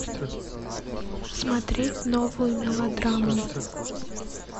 смотреть новую мелодраму